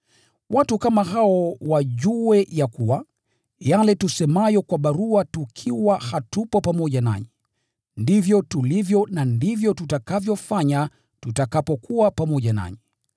Watu kama hao wajue ya kuwa, yale tusemayo kwa barua tukiwa hatupo pamoja nanyi, ndivyo tulivyo na ndivyo tutakavyofanya tutakapokuwa pamoja nanyi.